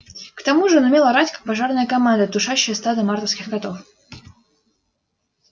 к тому же он умел орать как пожарная команда тушащая стадо мартовских котов